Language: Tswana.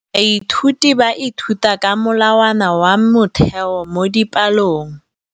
Baithuti ba ithuta ka molawana wa motheo mo dipalong.